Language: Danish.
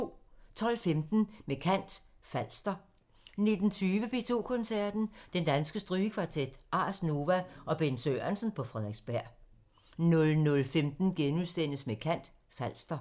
12:15: Med kant – Falster 19:20: P2 Koncerten – Den Danske Strygekvartet, Ars Nova og Bent Sørensen på Frederiksberg 00:15: Med kant – Falster *